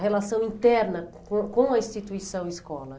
A relação interna com com a instituição escola.